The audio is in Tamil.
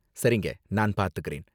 சரிங்க, நான் பாத்துக்கறேன்.